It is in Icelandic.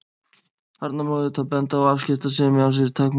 Þarna má auðvitað benda á að afskiptasemi á sér takmörk.